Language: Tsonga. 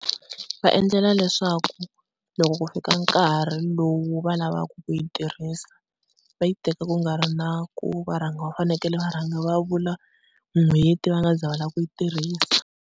Va endlela leswaku loko ku fika nkarhi lowu va lavaka ku yi tirhisa va yi teka ku nga ri na ku va rhanga va fanekele va rhanga va vula n'hweti va nga ze va lava ku yi tirhisa.